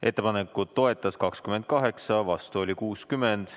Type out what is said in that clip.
Ettepanekut toetas 28, vastu oli 60.